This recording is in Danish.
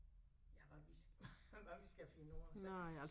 Ja hvad vi hvad vi skal finde ud af altså